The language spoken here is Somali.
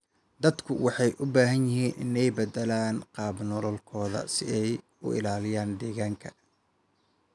Dadku waxay u baahan yihiin inay beddelaan qaab nololeedkooda si ay u ilaaliyaan deegaanka.